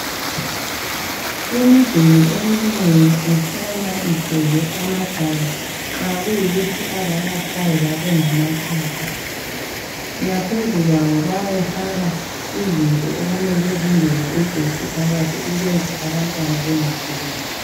Imiduli eminengi ihlala igcwele amadaka nxa kuyikuthi abayakhayo babengamatshapha. Ngaphezu kwayo bayayifaka izinto okumele zingene ugetsi phakathi ukuze abantwana bengafikeli.